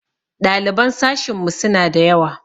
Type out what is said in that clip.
Ɗaliban sashinmu suna da yawa.